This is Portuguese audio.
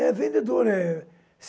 É, vendedor. Eh